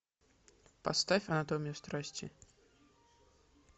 поставь анатомию страсти